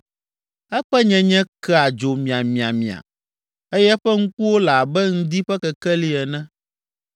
Eƒe nyenye kea dzo miamiamia eye eƒe ŋkuwo le abe ŋdi ƒe kekeli ene.